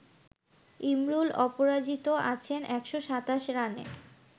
ইমরুল অপরাজিত আছেন ১২৭ রানে